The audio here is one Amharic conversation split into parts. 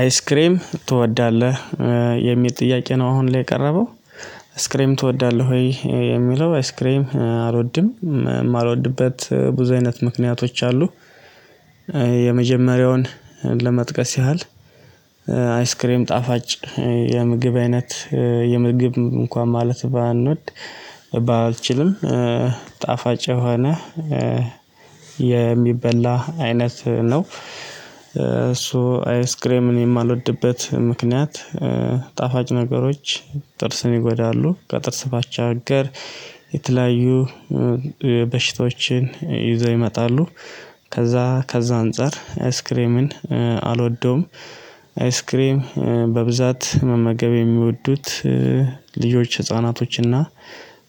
አይስክሬም ትወዳለህ የሚል ጥያቄ ነው አሁን ላይ የቀረበው አይስክሪም ትወዳለህ ወይ የሚለው አይስክሪም አልወድም የማልወድበት ብዙ አይነት ምክንያቶች አሉ። የመጀመሪያውን ለመጥቀስ ያህል አይስክሬም ጣፋጭ የምግብ አይነት የምግብ እንኳን ማለት ባንወድ ባልችልም ጣፋጭ የሆነ የሚበላ አይነት ነው። አይስክሬምን የማልወድበት ምክንያት። ጣፋጭ ነገሮች ጥርስን ይጎዳሉ ከጥርስ ባቻ አገር የተለያዩ በሽታዎችን ይዘው ይመጣሉ። ከዛ ከዛ አንፃር አይስክሬምን አልወደውም። አይስክሬም በብዛት መመገብ የሚወዱት ልጆች ህፃናቶችና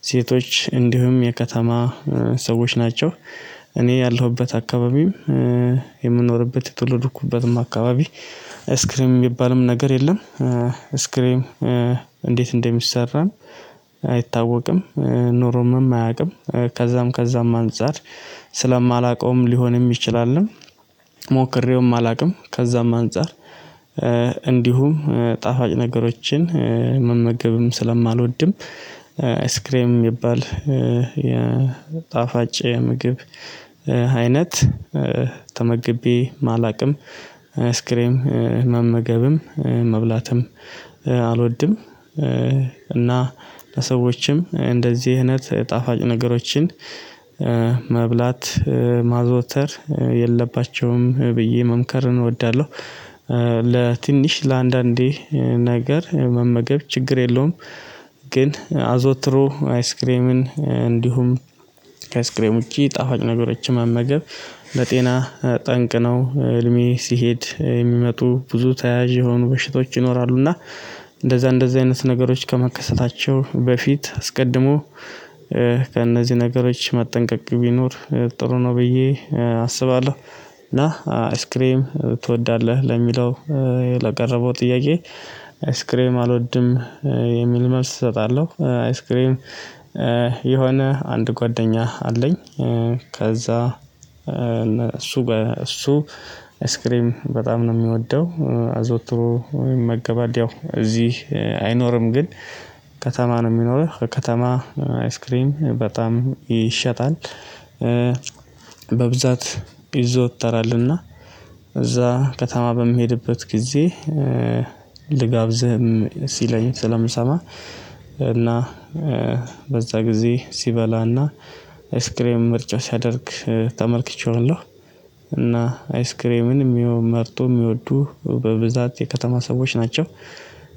ሴቶች እንዲሁም የከተማ ሰዎች ናቸው። እኔ ያለሁበት አካባቢም የምኖርበት የትውልድኩበትም አካባቢ አይስክሪም የሚባልም ነገር የለም። አይስክሪም እንዴት እንደሚሰራም አይታወቅም። ኖሮምም አያውቅም ከዛም ከዛም አንፃር ስለማላውቀውም ሊሆንም ይችላልም። ሞክሬውም አላውቅም ከዛም አንፃር። እንዲሁም ጣፋጭ ነገሮችን መመገብም ስለማልወድም አይስክሬም የሚባል የጣፋጭ ምግብ አይነት ተመግቤ አላውቅም። አይስክሬም መመገብም መብላትም አልወድም። እና ለሰዎችም እንደዚህ እይነት ጣፋጭ ነገሮችን መብላት ማዘውተር የለባቸውም ብዬ መምከር እወዳለሁ። ለትንሽ ለአንዳንዴ ነገር መመገብ ችግር የለውም። ግን አዘወትሮ አይስክሬምን እንዲሁም ከአይስክሬም ውጪ ጣፋጭ ነገሮችን መመገብ ለጤና ጠንቅነው እድሜ ሲሄድ የሚመጡ ብዙ ተያያዥ የሆኑ በሽቶች ይኖራሉ እና እንደዛ እንደዛ አይነት ነገሮች ከመከሰታቸው በፊት አስቀድሞ ከእነዚህ ነገሮች መጠንቀቅ ቢኖር ጥሩ ነው ብዬ አስባለሁ። እና አይስክሬም ትወዳለህ ለሚለው ለቀረበው ጥያቄ? አይስክሬም አልወድም የሚል መልስ እሰጣለሁ። አይስክሬም የሆነ አንድ ጓደኛ አለኝ። ከዛ እሱ እሱ አይስክሬም በጣም ነው የሚወደው አዘወትሮ ይመገባል ያው እዚህ አይኖርም። ግን ከተማ ነው የሚኖርህ ከተማ አይስክሪም በጣም ይሸጣል። በብዛት ይዘወተራልና እዛ ከተማ በምሄድበት ጊዜ ልጋብዝህም ሲለኝ ስለምሰማ እና በዛ ጊዜ ሲበላና አይስክሬም ምርጫ ሲያደርግ ተመልክቼዋለሁ። እና አይስክሬምን መርጠው የሚወዱ በብዛት የከተማ ሰዎች ናቸው።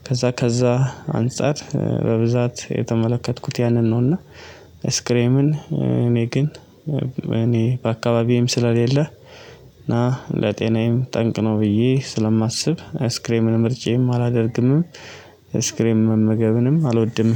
ከዛ ከዛ አንፃር በብዛት የተመለከትኩት ያንን ነው። እና አይስክሬምን እኔ ግን እኔ በአካባቢም ስለሌለ እና ለጤናዬም ጠንቅ ነው ብዬ ስለማስብ አይስክሬምን ምርጫዬም አላደርግምም። አይስክሪም መመገብንም አልወድም።